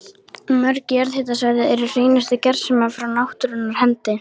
Mörg jarðhitasvæði eru hreinustu gersemar frá náttúrunnar hendi.